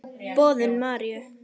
Boðun Maríu.